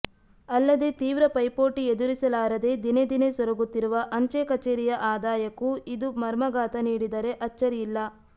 ಅಲ್ಲದೇ ತೀವ್ರ ಪೈಪೋಟಿ ಎದುರಿಸಲಾರದೇ ದಿನೇ ದಿನೇ ಸೊರಗುತ್ತಿರುವ ಅಂಚೆ ಕಚೇರಿಯ ಆದಾಯಕ್ಕೂ ಇದು ಮರ್ಮಾಘಾತ ನೀಡಿದರೆ ಅಚ್ಚರಿಯಿಲ್ಲ